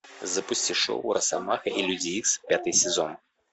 запусти шоу росомаха и люди икс пятый сезон